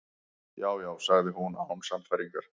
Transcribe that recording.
Já, já- sagði hún án sannfæringar.